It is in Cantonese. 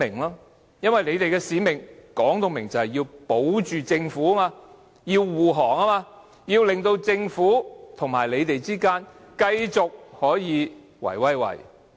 眾所周知，他們的使命是要為政府護航，令政府和建制派可以繼續"圍威喂"。